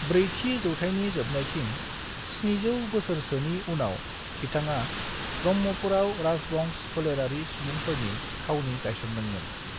ब्रैथि जौथाइनि जोबनायथिं 700 बोसोरसोनि उनाव बिथाङा ब्रह्मपुरआव राजबंश फोलेरारि सुबुंफोरनि थावनि गायसनदोंमोन।